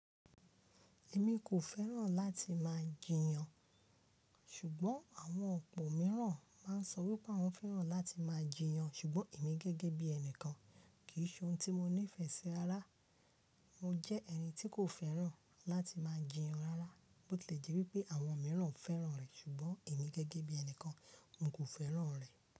Èmi kò fẹ́ràn láti máa jiyàn, ṣùgbọ́n àwọn ọ̀pọ̀ mìíràn máa ń sọ wípé awọ́n fẹ́ràn láti máa jiyàn ṣùgbọ́n èmi gẹ́gẹ́ bí ẹnìkan, kì í ṣe ohun tí mo nífẹ̀ẹ́ sí rara. Mo jẹ́ ẹni tí kò fẹ́ràn láti máa jiyàn rárá. Bó tí lè jẹ́ wípé àwọn mìíràn fẹ́ràn rẹ̀ ṣùgbọ́n èmi gẹ́gẹ́ bí ẹnìkan, n kò fẹ́ràn rẹ̀